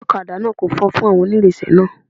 Ọlọ́kadà náà ko fọn fún àwọn oǹrinsẹ̀ náà.